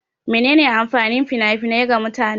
Mene ne amfanin fina-finai ga mutane?